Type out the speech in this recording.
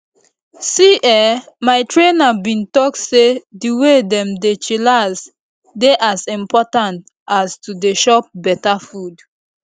see[um]my trainer bin talk say di way dem dey chillax dey as important as to dey chop beta food